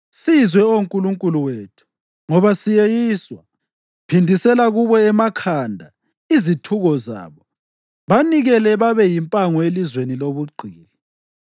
Sizwe, Oh Nkulunkulu wethu, ngoba siyeyiswa. Phindisela kubo emakhanda izithuko zabo. Banikele babe yimpango elizweni lobugqili.